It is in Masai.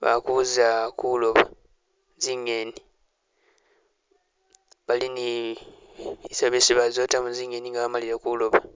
bali kuza kulooba zingeni, bali ni biselo byesi baza otamo zingeni nga bamalile kulooba.